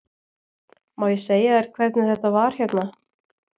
Má ég segja þér hvernig þetta var hérna?